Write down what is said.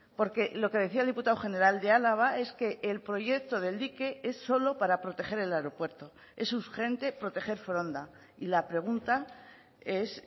porque lo que decía el diputado general de álava es que el proyecto del dique es solo para proteger el aeropuerto es urgente proteger foronda y la pregunta es